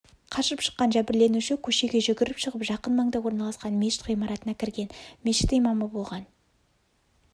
қашып шыққан жәбірленуші көшеге жүгіріп шығып жақын маңда орналасқан мешіт ғимаратына кірген мешіт имамы болған